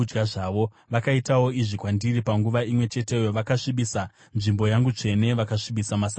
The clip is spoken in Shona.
Vakaitawo izvi kwandiri: Panguva imwe cheteyo vakasvibisa nzvimbo yangu tsvene vakasvibisa maSabata angu.